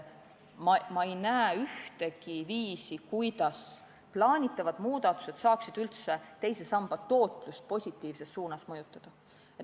Ma ei näe ühtegi viisi, kuidas plaanitavad muudatused saaksid teise samba tootlust positiivses suunas mõjutada.